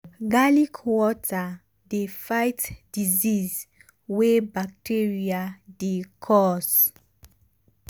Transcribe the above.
garlic water dey fight disease wey bacteria um dey cause.